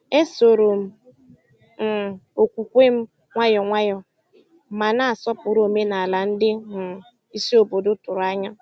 E soro m um okwukwe m nwayọ nwayọ, ma na-asọpụrụ omenala ndị um isi obodo tụrụ anya.